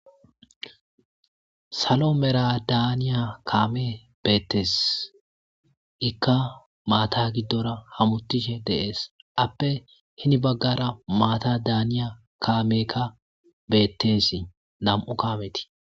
Saalo maalla daniya kaamey bettes iika maata giddora hamuttishe de'es appe heni baggera maata daniya kaameyka bettes nam'u kaameti.